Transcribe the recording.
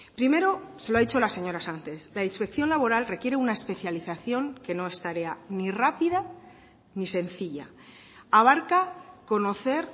primero se lo ha dicho la señora sánchez la inspección laboral requiere una especialización que no es tarea ni rápida ni sencilla abarca conocer